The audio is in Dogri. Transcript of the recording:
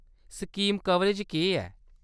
स्कीम कवरेज केह्‌‌ ऐ ?